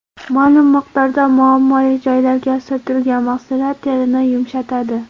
Ma’lum miqdorda muammoli joylarga surtilgan mahsulot terini yumshatadi.